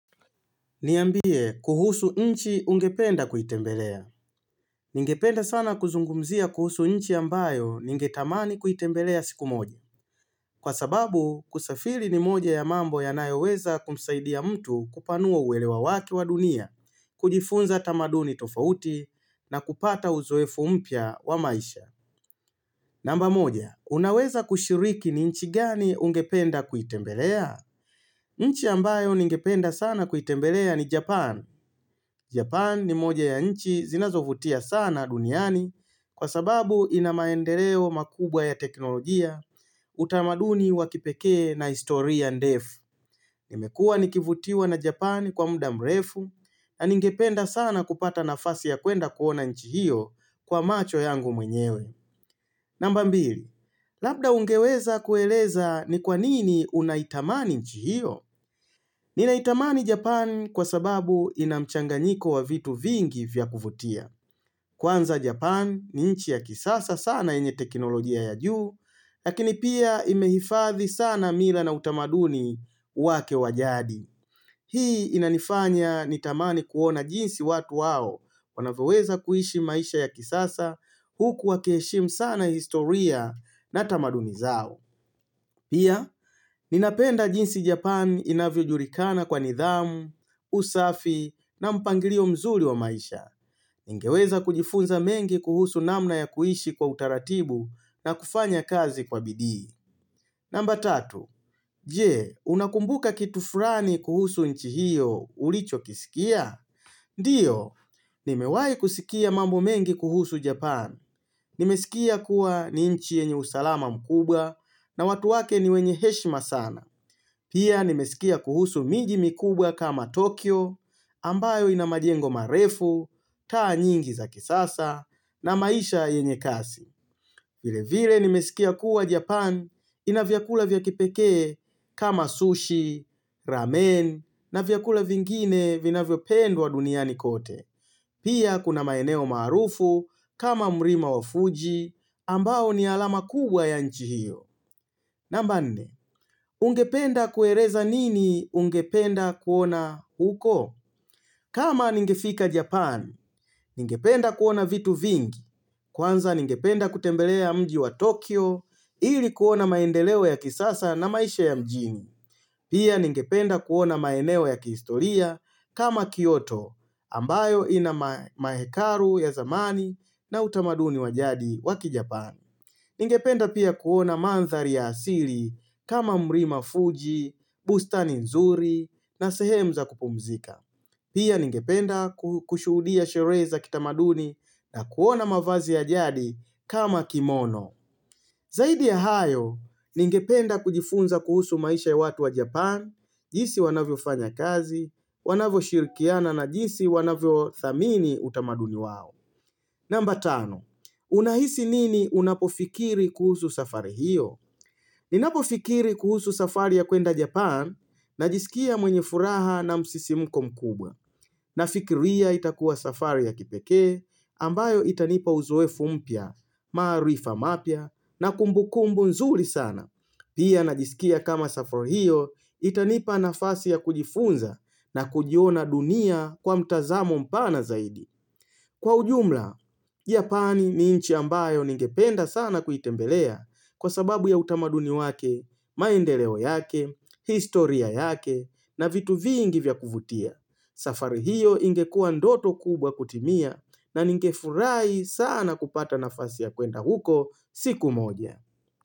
Niambie kuhusu nchi ungependa kuitembelea. Ningependa sana kuzungumzia kuhusu nchi ambayo ningetamani kuitembelea siku moja. Kwa sababu, kusafiri ni moja ya mambo yanayo weza kumsaidia mtu kupanuo uwelewa waki wa dunia, kujifunza tamaduni tofauti, na kupata uzoefu mpya wa maisha. Namba moja, unaweza kushiriki ni nchi gani ungependa kuitembelea? Nchi ambayo ningependa sana kuitembelea ni Japan. Japan ni moja ya nchi zinazovutia sana duniani kwa sababu inamaendeleo makubwa ya teknolojia utamaduni wakipekee na history and ndefu. Nimekuwa nikivutiwa na Japan kwa muda mrefu na ningependa sana kupata nafasi ya kwenda kuona nchi hiyo kwa macho yangu mwenyewe. Nambambili, labda ungeweza kueleza ni kwanini unaitamani nchi hiyo? Nina itamani Japan kwa sababu inamchanganyiko wa vitu vingi vya kuvutia. Kwanza Japan ni nchi ya kisasa sana enye teknolojia ya juu, lakini pia imehifadhi sana mila na utamaduni wake wajadi. Hii inanifanya nitamani kuona jinsi watu wao wanavyoweza kuishi maisha ya kisasa huku wakiheshimu sana historia na tamaduni zao. Pia, ninapenda jinsi Japan inavyojulikana kwa nidhamu, usafi na mpangilio mzuri wa maisha. Ningeweza kujifunza mengi kuhusu namna ya kuishi kwa utaratibu na kufanya kazi kwa bidii. Namba tatu. Jee, unakumbuka kitu fulani kuhusu nchi hiyo ulichokisikia? Ndio, nimewai kusikia mambo mengi kuhusu Japan. Nimesikia kuwa ni nchi yenye usalama mkubwa na watu wake ni wenye heshima sana. Pia nimesikia kuhusu miji mkubwa kama Tokyo, ambayo ina majengo marefu, taa nyingi za kisasa na maisha yenye kasi. Vile vile ni mesikia kuwa Japan inavyakula vya kipeke kama sushi, ramen na vyakula vingine vina vyo pendwa duniani kote. Pia kuna maeneo marufu kama mlima wa Fuji ambao ni alama kubwa ya nchi hiyo. Namba nne, ungependa kueleza nini ungependa kuona huko? Kama ningefika Japan, ningependa kuona vitu vingi. Kwanza ningependa kutembelea mji wa Tokyo ili kuona maendeleo ya kisasa na maisha ya mjini. Pia ningependa kuona maeneo ya kistoria kama Kyoto ambayo ina mahekaru ya zamani na utamaduni wajadi waki Japan. Ningependa pia kuona mandhari ya asili kama mlima fuji, bustani nzuri na sehemza kupumzika. Pia ningependa kushuhudia sherehe za kitamaduni na kuona mavazi ya jadi kama kimono. Zaidi ya hayo, ningependa kujifunza kuhusu maisha ya watu wa Japan, jinsi wanavyo fanya kazi, wanavyo shirikiana na jinsi wanavyothamini utamaduni wao. Namba tano, unahisi nini unapofikiri kuhusu safari hiyo ni napo fikiri kuhusu safari ya kwenda Japan na jisikia mwenye furaha na msisimko mkubwa. Nafikiria itakuwa safari ya kipekee ambayo itanipa uzoevu mpya, maarifa mapya na kumbu kumbu nzuri sana. Pia najisikia kama safari hiyo itanipa nafasi ya kujifunza na kujiona dunia kwa mtazamo mpana zaidi. Kwa ujumla, Japani ni nchi ambayo ningependa sana kuitembelea kwa sababu ya utamaduni wake, maendeleo yake, historia yake na vitu vingi vya kuvutia. Safari hiyo ingekua ndoto kubwa kutimia na ningefurahi sana kupata nafasi ya kwenda huko siku moja.